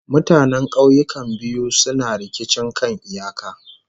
Mutanen kauyukan biyu suna rikicin kan iyaka